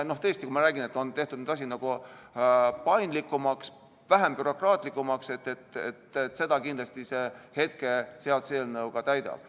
Tõesti, kui ma räägin, et asi on tehtud paindlikumaks, vähem bürokraatlikuks, siis seda kindlasti see seaduseelnõu ka teeb.